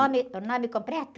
Nome, o nome completo?